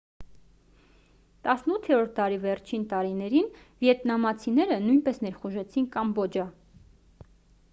18-րդ դարի վերջին տարիներին վիետնամցիները նույնպես ներխուժեցին կամբոջա